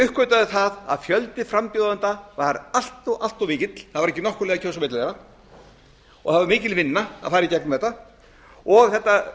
uppgötvaði það að fjöldi frambjóðenda var allt mikill það var ekki nokkur leið að kjósa á milli þeirra og það var mikil vinna að fara í gegnum þetta